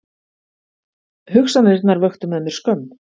Hugsanirnar vöktu með mér skömm.